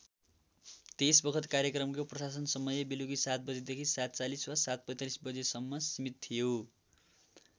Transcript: त्यसबखत कार्यक्रमको प्रसारण समय बेलुकी ७ बजेदेखि ७४० वा ७४५ बजेसम्म सिमित थियो।